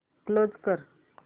close कर